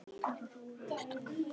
Allt þar á rúi og stúi.